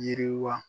Yiriwa